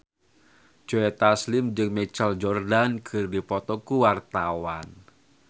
Joe Taslim jeung Michael Jordan keur dipoto ku wartawan